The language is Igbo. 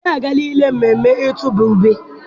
Dare agaala ilele mmemme ịtụba ube